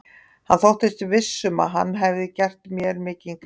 Hann þóttist viss um, að hann hefði gert mér mikinn greiða.